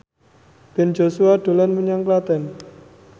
Ben Joshua dolan menyang Klaten